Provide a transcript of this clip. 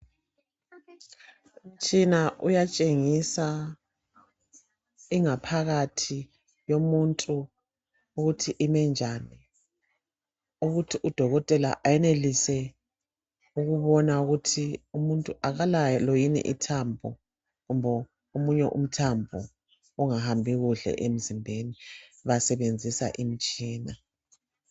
Umtshina uyatshengisa ingaphakathi yomuntu ukuthi imi njani ukuthi udokotela eyenelise ukubona ukuthi umuntu akalalo yini ithambo kumbe omunye umthambo ongahambi kuhle emzimbeni basebenzisa omitshina